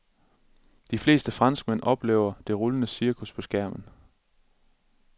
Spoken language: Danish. De fleste franskmænd oplever det rullende cirkus på skærmen.